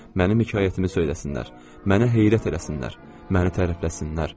Mənim hekayətimi söyləsinlər, məni heyrət eləsinlər, məni tərifləsinlər.